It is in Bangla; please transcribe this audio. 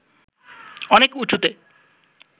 অনেক উঁচুতে